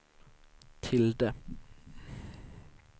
tilde